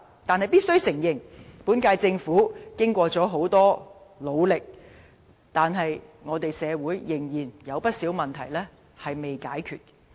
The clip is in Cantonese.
但必須承認，雖然本屆政府已非常努力，但社會仍然有不少問題未解決。